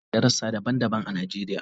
Shoprite yana da rassa daban-daban a Najeriya.